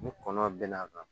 Ni kɔnɔ bɛnn'a kan